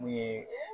Mun ye